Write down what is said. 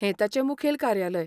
हें तांचें मुखेल कार्यालय.